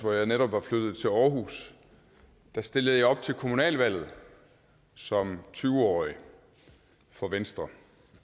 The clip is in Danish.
hvor jeg netop var flyttet til aarhus stillede jeg op til kommunalvalget som tyve årig for venstre